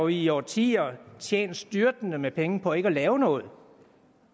i årtier har tjent styrtende med penge på ikke at lave noget